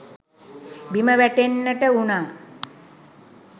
බිම වැටෙන්නට වුනා.